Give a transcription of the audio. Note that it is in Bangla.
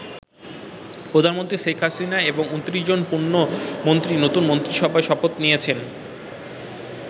প্রধানমন্ত্রী শেখ হাসিনা এবং ২৯ জন পূর্ণ মন্ত্রী নতুন মন্ত্রিসভায় শপথ নিয়েছেন।